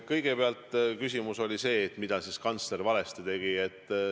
Kõigepealt, küsimus oli see, mida siis kantsler valesti tegi.